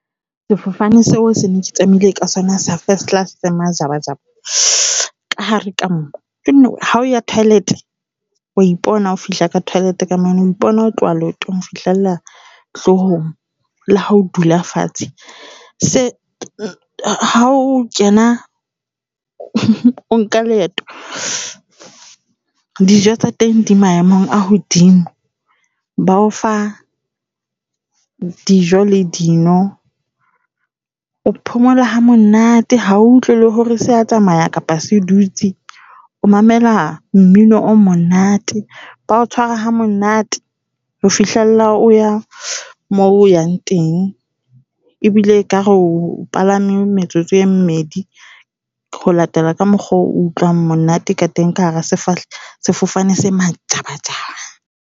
Sefofane seo sene se tsamaile ka sona sa first class se majabajaba ka hare ka moo. Jonna wee, ha o ya toilet, wa ipona ha o fihla ka toilet ka mane, o ipona ho tloha leotong ho fihlella hlohong. Le ha o dula fatshe se ha o kena, o nka leeto. Dijo tsa teng di maemong a hodimo ba o fa dijo le dino. O phomola ha monate ha o utlwe le hore sea tsamaya kapa se dutse o mamela mmino o monate. Ba o tshwara ha monate ho fihlella o ya mo o yang teng ebile ekare o palame metsotso e mmedi ho latela ka mokgwa o utlwang monate ka teng ka hara sefofane se majabajaba.